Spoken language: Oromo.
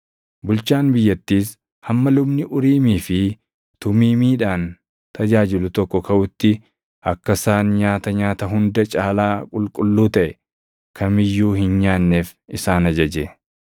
Bulchaan biyyattiis hamma lubni Uriimii fi Tumiimiidhaan tajaajilu tokko kaʼutti akka isaan nyaata nyaata hunda caalaa qulqulluu taʼe kam iyyuu hin nyaanneef isaan ajaje.